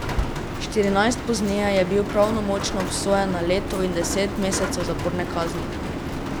Štirinajst pozneje je bil pravnomočno obsojen na leto in deset mesecev zaporne kazni.